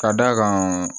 Ka d'a kan